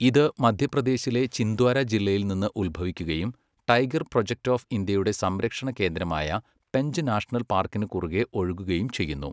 ഇത് മധ്യപ്രദേശിലെ ചിന്ദ്വാര ജില്ലയിൽ നിന്ന് ഉത്ഭവിക്കുകയും ടൈഗർ പ്രൊജക്റ്റ് ഓഫ് ഇന്ത്യയുടെ സംരക്ഷണ കേന്ദ്രമായ പെഞ്ച് നാഷണൽ പാർക്കിന് കുറുകെ ഒഴുകുകയും ചെയ്യുന്നു.